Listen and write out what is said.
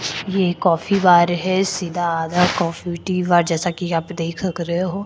यह एक coffee bar है सीधा आधा कॉफी टी बार जैसा कि यहाँ पे देख क रहे हो।